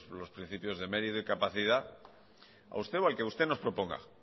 los principios de meritos y capacidad a usted o al que usted no se oponga